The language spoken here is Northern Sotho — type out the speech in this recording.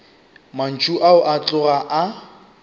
mantšu ao a tloga a